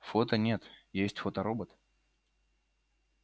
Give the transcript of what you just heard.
фото нет есть фоторобот